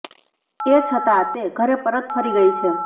એ છતાં તે ઘરે પરત ફરી ગઈ છે